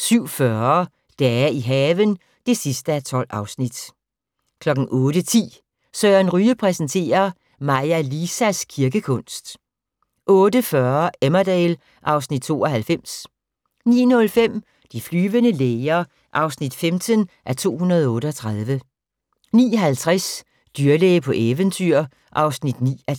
07:40: Dage i haven (12:12) 08:10: Søren Ryge præsenterer: Maja Lisas kirkekunst 08:40: Emmerdale (Afs. 92) 09:05: De flyvende læger (15:238) 09:50: Dyrlæge på eventyr (9:10)